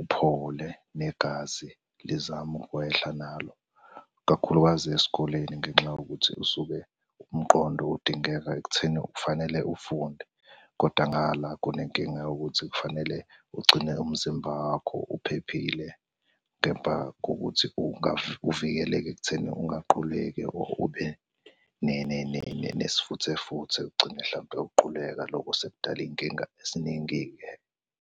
uphole, negazi lizame ukwehla nalo. Kakhulukazi esikoleni ngenxa yokuthi usuke umqondo udingeka ekutheni kufanele ufunde, kodwa ngala kunenkinga yokuthi kufanele ugcine umzimba wakho uphephile, kepha kokuthi uvikeleke ekutheni ungaquleki, or ube nesifuthe futhe. Ugcine hlampe uquleka lokho sekudala iy'nkinga eziningi-ke.